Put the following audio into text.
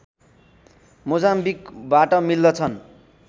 मोजाम्बिकबाट मिल्दछन्